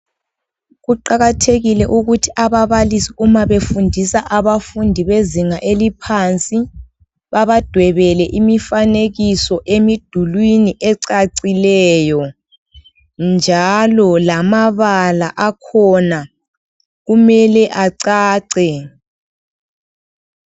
Kuqakathekile ukuthi ababalisi uma befundisa abafundi bezinga eliphansi babadwebele imfanekiso emidulini, ecacileyo njalo lamabala akhona kumele acace.